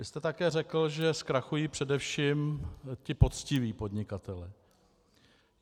Vy jste také řekl, že zkrachují především ti poctiví podnikatelé.